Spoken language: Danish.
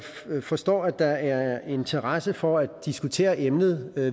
forstår at der er interesse for at diskutere emnet